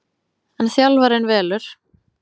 En þjálfarinn velur